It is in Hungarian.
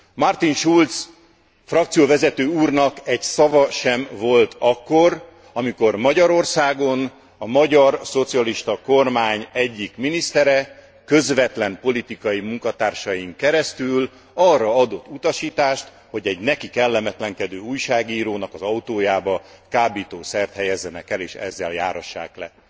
Martin Schulz frakcióvezető úrnak egy szava sem volt akkor, amikor Magyarországon a magyar szocialista kormány egyik minisztere közvetlen politikai munkatársain keresztül arra adott utasítást, hogy egy neki kellemetlenkedő újságírónak az autójába kábítószert helyezzenek el és ezzel járassák le.